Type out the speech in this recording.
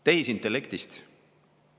Tehisintellektist.